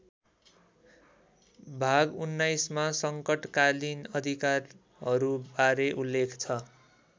भाग १९ मा सङ्कटकालीन अधिकारहरूबारे उल्लेख छ।